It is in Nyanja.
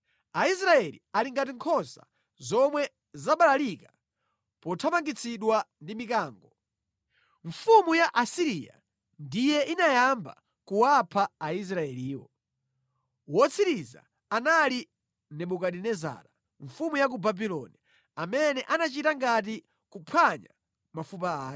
“Aisraeli ali ngati nkhosa zomwe zabalalika pothamangitsidwa ndi mikango. Mfumu ya ku Asiriya ndiye inayamba kuwapha Aisraeliwo. Wotsiriza anali Nebukadinezara mfumu ya ku Babuloni amene anachita ngati kuphwanya mafupa ake.”